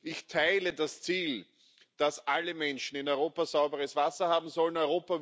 Ich teile das Ziel, dass alle Menschen in Europa sauberes Wasser haben sollen.